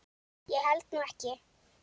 Ég held nú ekki!